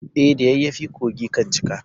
E, da yayyafi kogi kan cika.